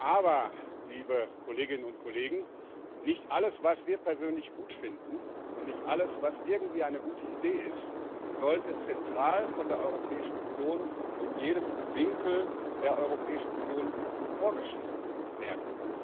Aber nicht alles, was wir persönlich gut finden und nicht alles, was irgendwie eine gute Idee ist, sollte zentral von der Europäischen Union in jedem Winkel der Europäischen Union vorgeschrieben werden.